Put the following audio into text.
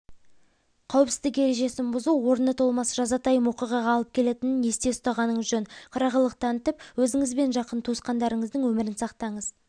қауіпсіздік ережесін бұзу орны толмас жазатайым оиғаға алып келетінін есте ұстағаныңыз жөн қырағылық танытып өзіңізбен жақын туысқандарыңыздың өмірін сақтаңыз